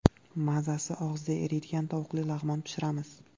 Mazasi og‘izda eriydigan tovuqli lag‘mon pishiramiz.